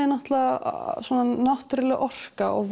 er náttúrulega náttúrulega orka og